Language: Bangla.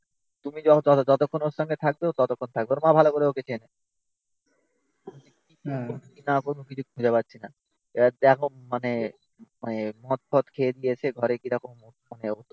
তুমি যতক্ষণ ওর সঙ্গে থাকবে ও ততক্ষণ থাকবে. ওর মা ভালো করে ওকে চেনে না কোথাও কিছু খুঁজে পাচ্ছি না. এবার দেখো মানে মানে মদ ফদ খেয়ে দিয়েছে ঘরে কিরকম মানে